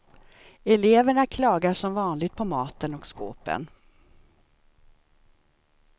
Eleverna klagar som vanligt på maten och skåpen.